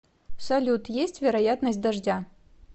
салют есть вероятность дождя